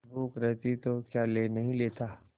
भूख रहती तो क्या ले नहीं लेता